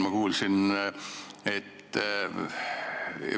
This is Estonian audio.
Ma kuulsin huvitavat detaili.